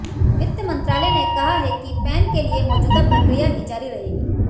वित्त मंत्रालय ने कहा है कि पैन के लिए मौजूदा प्रक्रिया ही जारी रहेगी